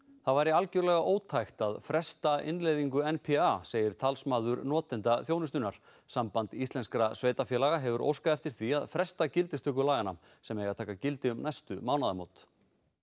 það væri algjörlega ótækt að fresta innleiðingu n p a segir talsmaður notenda þjónustunnar samband íslenskra sveitarfélaga hefur óskað eftir því að fresta gildistöku laganna sem eiga að taka gildi um næstu mánaðamót